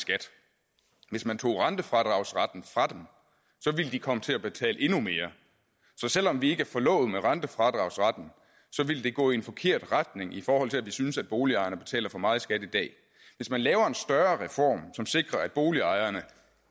skat hvis man tog rentefradragsretten fra dem ville de komme til at betale endnu mere så selv om vi ikke er forlovet med rentefradragsretten ville det gå i en forkert retning i forhold til at vi synes at boligejerne betaler for meget i skat i dag hvis man laver en større reform som sikrer at boligejerne